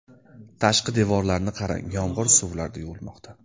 Tashqi devorlarni qarang, yomg‘ir suvlarida yuvilmoqda.